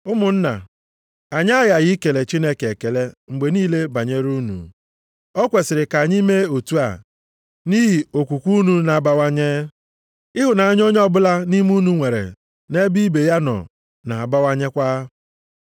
Ụmụnna, anyị aghaghị ikele Chineke ekele mgbe niile banyere unu. O kwesiri ka anyị mee otu a, nʼihi okwukwe unu na-abawanye. Ịhụnanya onye ọbụla nʼime unu nwere nʼebe ibe ya nọ na-abawanyekwa.